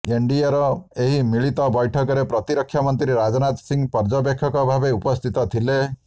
ଏନ୍ଡିଏର ଏହି ମିଳିତ ବୈଠକରେ ପ୍ରତିରକ୍ଷା ମନ୍ତ୍ରୀ ରାଜନାଥ ସିଂହ ପର୍ଯ୍ୟବେକ୍ଷକ ଭାବେ ଉପସ୍ଥିତ ଥିଲେ